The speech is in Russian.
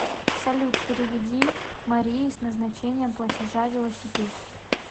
салют переведи марии с назначением платежа велосипед